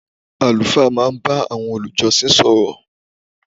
Àlùfáà má bá àwọn olùjọsìn sọ̀rọ̀